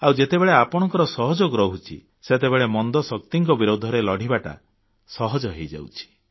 ଆଉ ଯେତେବେଳେ ଆପଣଙ୍କ ସହଯୋଗ ରହୁଛି ସେତେବେଳେ ମନ୍ଦଶକ୍ତିଙ୍କ ବିରୋଧରେ ଲଢ଼ିବାଟା ସହଜ ହେଇଯାଉଛି